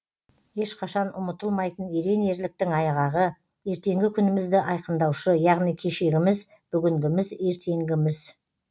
ешқашан ұмытылмайтын ерен ерліктің айғағы ертеңгі күнімізді айқындаушы яғни кешегіміз бүгінгіміз ертеңгіміз